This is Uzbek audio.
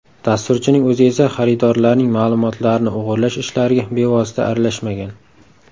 Dasturchining o‘zi esa xaridorlarning ma’lumotlarini o‘g‘irlash ishlariga bevosita aralashmagan.